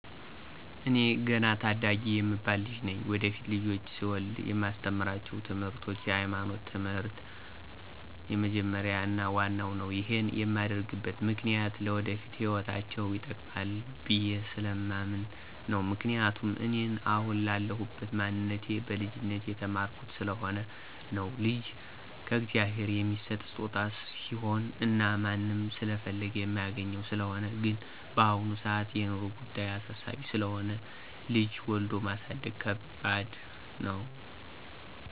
ኤኔ ገና ታዳጊ የምባል ልጅ ነኝ። ወደፊት ልጆች ስወልድ የማስተምራቸው ትምርቶች የሀይማኖት ትምህር የመጀመርያው እና ዋናው ነው። ይሄን የማደርግበት ምክኒያት ለወደፊት ህይወታቸው ይጠቅማል ብየስለማምን ነው፤ ምክንያቱም እኔን አሁን ላለሁበት ማንነቴ በልጅነቴ የተማርኩት ስለሆነ ነው። ልጅ ከእግዚአብሔር የሚሠጥ ስጦታ ስሆነ እና ማንም ስለፈለገ የማያገኘው ስለሆነ ነው። ግን በአሁን ሰአት የኑሮ ጉዳይ አሳሳቢ ስለሆነ ልጅ ወልዶ ማሳደግ ከባደሰ ነው።